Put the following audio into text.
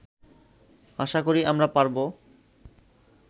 আশা করি আমরা পারবো